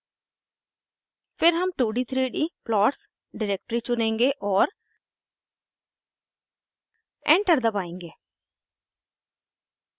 फिर हम two D three D plots directory चुनेंगे और एंटर दबाएंगे